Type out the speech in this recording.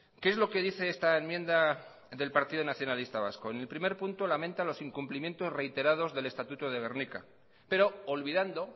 qué es lo que dice esta enmienda del partido nacionalista vasco en el primer punto lamenta los incumplimientos reiterados del estatuto de gernika pero olvidando